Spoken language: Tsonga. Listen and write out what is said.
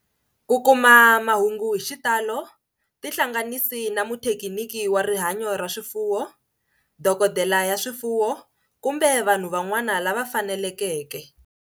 Ku kuma mahungu hi xitalo tihlanganisi na muthekiniki wa rihanyo ra swifuwo, dokodela ya swifuwo, kumbe vanhu van'wana lava faneleke.ke